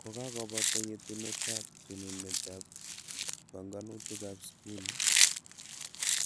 Kokakobata yetunetab tununetab banganutikab skuli,